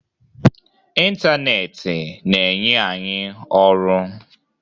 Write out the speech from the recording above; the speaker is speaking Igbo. Ịntanetị na-enye anyị ọrụ.